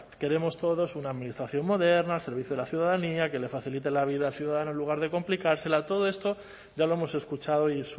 queremos todos una administración moderna al servicio a la ciudadanía que le facilite la vida al ciudadano en lugar de complicársela todo esto ya lo hemos escuchado y